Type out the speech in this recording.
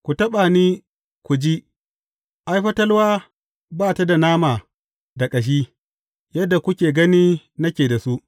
Ku taɓa ni ku ji, ai, fatalwa ba ta da nama da ƙashi, yadda kuke gani nake da su.